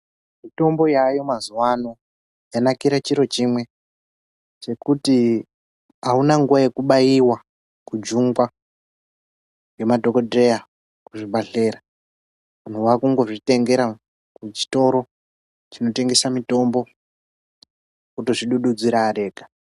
Mutombo yaayo mazuwa ano yanakirw chiro chimwe chekuti auna nguwa yekubaiwa kujungwa ngemadhokodheya kuzvibhadhlera munhu wakungozvitengera kuzvitoro chinotengesa mutombo otozvidududzira ari ega.